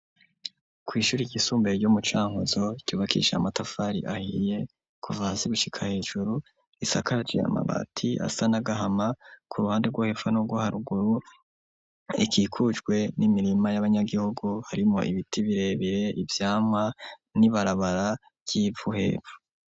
Kw'ishure ryisumbuye ryo mu Cankuzo ryubakishije amatafari ahiye kuva hasi gushika hejuru ,risakaje amabati asa n'agahama, ku ruhande rwo hepfo n'urwo haruguru ikikujwe n'imirima y'abanyagihugu, harimwo ibiti birebire, ivyamwa n'ibarabara ry'ivu hepfo.